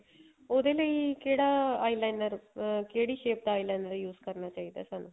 ਉਹਦੇ ਲਈ ਕਿਹੜਾ eyeliner ਅਹ ਕਿਹੜੀ shape ਦਾ eyeliner use ਕਰਨਾ ਚਾਹੀਦਾ ਸਾਨੂੰ